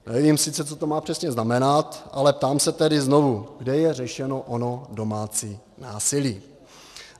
Nevím sice, co to má přesně znamenat, ale ptám se tedy znovu: Kde je řešeno ono domácí násilí?